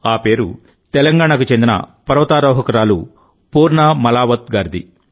ఆ పేరు తెలంగాణకు చెందిన పర్వతారోహకురాలు పూర్ణ మాలావత్ గారిది